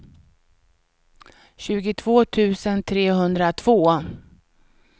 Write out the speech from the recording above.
tjugotvå tusen trehundratvå